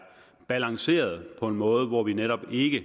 balanceret på en måde hvor vi netop ikke